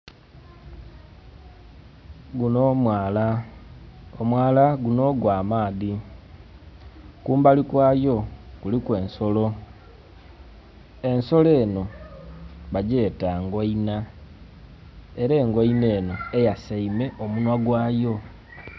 Guno mwaala, omwaala guno gwa maadhi. Kumbali kwayo kuliku ensolo, ensolo eno, bagyeta ngoinha, era engoinha eno eyasaime omunwa gwayo.